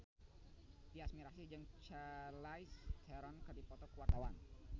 Tyas Mirasih jeung Charlize Theron keur dipoto ku wartawan